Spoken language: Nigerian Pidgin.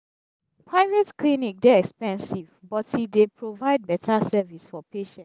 private clinic dey expensive but e dey provide beta service for patients.